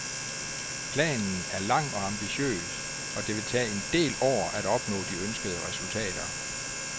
Planen er lang og ambitiøs, og det vil tage en del år at opnå de ønskede resultater.